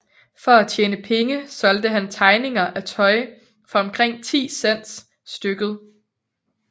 For at tjene penge solgte han tegninger af tøj for omkring 10 cents stykket